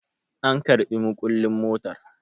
an karɓI mukullin motar?